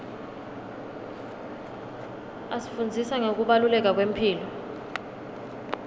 asifundzisa ngekubaluleka kwemphilo